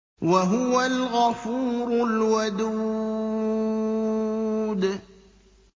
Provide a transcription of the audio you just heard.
وَهُوَ الْغَفُورُ الْوَدُودُ